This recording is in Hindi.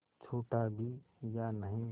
छूटा भी या नहीं